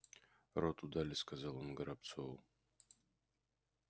роту дали сказал он горобцову